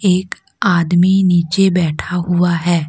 एक आदमी नीचे बैठा हुआ है।